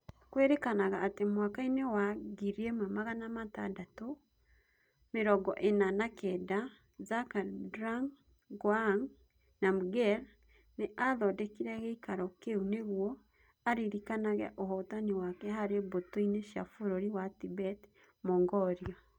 Kwĩrĩkanaga atĩ mwaka-inĩ wa 1649, Zhabdrung Ngawang Namgyel nĩ aathondekire gĩikaro kĩu nĩguo aririkanage ũhootani wake harĩ mbũtũ cia bũrũri wa Tibet - Mongolia.